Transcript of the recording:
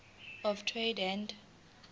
of trade and